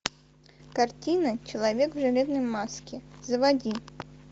картина человек в железной маске заводи